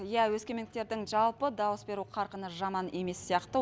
иә өскемендіктердің жалпы дауыс беру қарқыны жаман емес сияқты